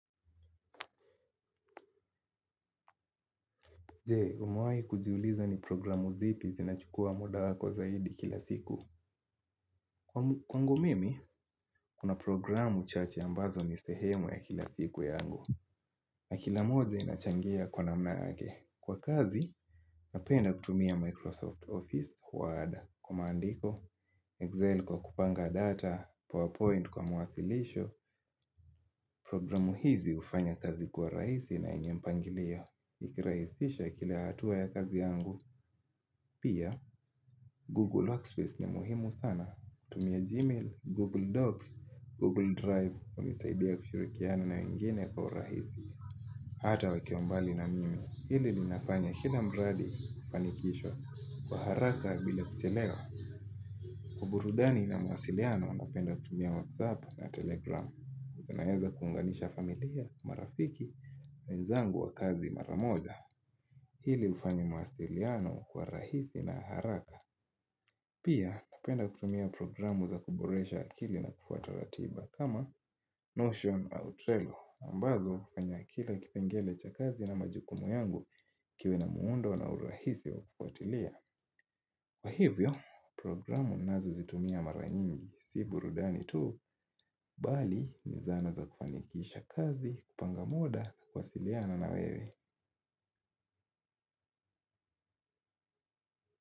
Je, umawahi kujiuliza ni programu zipi zinachukua muda wako zaidi kila siku. Kwangu mimi kuna programu chache ambazo ni sehemu ya kila siku yangu na kila moja inachangia kwa namna yake. Kwa kazi, napenda kutumia Microsoft Office, Word, kwa maandiko, Excel kwa kupanga data, PowerPoint kwa mawasilisho. Programu hizi hufanya kazi kuwa rahisi na yenye mpangilio. Ikirahisisha kila hatua ya kazi yangu. Pia Google Workspace ni muhimu sana. Tumia Gmail, Google Docs, Google Drive hunisaidia kushirikiana na wengine kwa urahisi. Hata wakiwa mbali na mimi. Hili linafanya kila mradi kufanikishwa kwa haraka bila kuchelewa uburudani ina mawasiliano napenda kutumia WhatsApp na Telegram zinaeza kuunganisha familia, marafiki na wenzangu wa kazi mara moja. Hili hufanya mawasiliano kwa rahisi na haraka. Pia hupenda kutumia programu za kuboresha akili na kufuata ratiba kama Notion au Trello, ambazo hufanya kila kipengele cha kazi na majukumu yangu kiwe na muundo na urahisi wa kufuatilia. Kwa hivyo, programu ninazozitumia mara nyingi, si burudani tu, bali ni zana za kufanikisha kazi, kupanga muda, kuwasiliana na wewe.